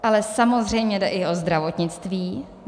Ale samozřejmě jde i o zdravotnictví.